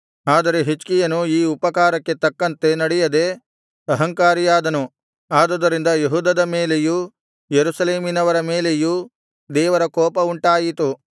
ಆದರೆ ಹಿಜ್ಕೀಯನು ಈ ಉಪಕಾರಕ್ಕೆ ತಕ್ಕಂತೆ ನಡೆಯದೆ ಅಹಂಕಾರಿಯಾದನು ಆದುದರಿಂದ ಯೆಹೂದದ ಮೇಲೆಯೂ ಯೆರೂಸಲೇಮಿನವರ ಮೇಲೆಯೂ ದೇವರ ಕೋಪವುಂಟಾಯಿತು